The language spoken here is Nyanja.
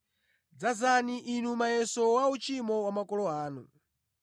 Dzazani inu muyeso wa uchimo wa makolo anu!